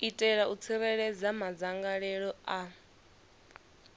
itela u tsireledza madzangalelo a